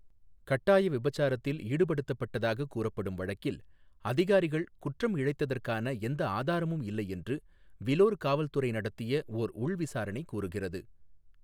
கட்டாய விபச்சாரத்தில் ஈடுபடுத்தப்பட்டதாகக் கூறப்படும் வழக்கில், அதிகாரிகள் குற்றம் இழைத்ததற்கான எந்த ஆதாரமும் இல்லை என்று விலோர் காவல்துறை நடத்திய ஓர் உள்விசாரணை கூறுகிறது.